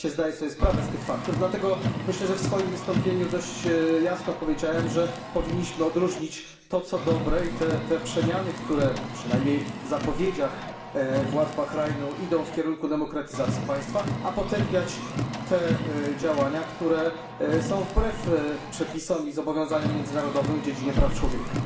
Oczywiście zdaję sobie sprawę z tych faktów i dlatego myślę, że w swoim wystąpieniu dość jasno powiedziałem, że powinniśmy odróżnić to, co dobre i te przemiany, które, przynajmniej w zapowiedziach władz Bahrajnu, idą w kierunku demokratyzacji państwa, a potępiać te działania, które są wbrew przepisom i zobowiązaniom międzynarodowym w dziedzinie praw człowieka.